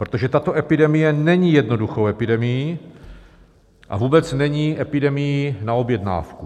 Protože tato epidemie není jednoduchou epidemií a vůbec není epidemií na objednávku.